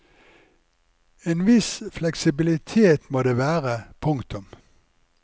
En viss fleksibilitet må det være. punktum